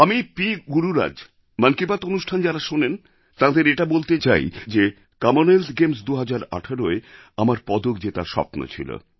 আমি পি গুরুরাজ মন কি বাত অনুষ্ঠান যাঁরা শোনেন তাঁদের এটা বলতে চাই যে কমনওয়েলথ গেমস ২০১৮য় আমার পদক জেতার স্বপ্ন ছিল